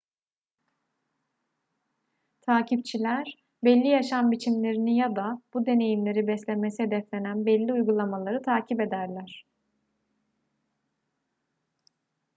takipçiler belli yaşam biçimlerini ya da bu deneyimleri beslemesi hedeflenen belli uygulamaları takip ederler